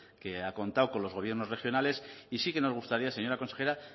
que ha contado con los gobiernos regionales y sí que nos gustaría señora consejera